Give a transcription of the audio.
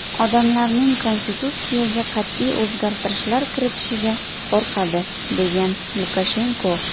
Odamlar konstitutsiyaga qat’iy o‘zgartirishlar kiritishga qo‘rqadi”, degan Lukashenko.